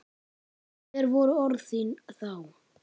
Hver voru orð þín þá?